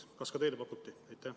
Kas ka teile pakuti?